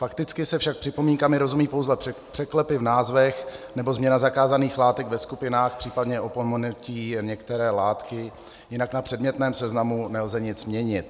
Fakticky se však připomínkami rozumí pouze překlepy v názvech nebo změna zakázaných látek ve skupinách, případně opomenutí některé látky, jinak na předmětném seznamu nelze nic měnit.